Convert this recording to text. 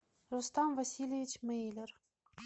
рустам васильевич мейлер